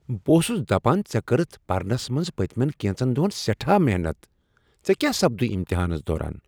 بہٕ اوسس دپان ژےٚ کٔرتھ پرنس منٛز پٔتۍمین کینژن دۄہن سیٹھاہ محنت۔ ژےٚ کیاہ سپدُے امتحانس دوران؟